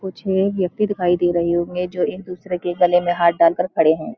कुछ व्‍यक्ति दिखाई दे रहे होंगे जो एक दूसरे के गले में हाथ डाल कर खड़े हैं। --